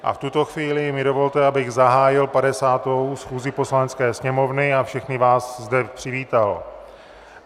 A v tuto chvíli mi dovolte, abych zahájil 50. schůzi Poslanecké sněmovny a všechny vás zde přivítal.